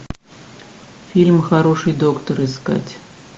фильм хороший доктор искать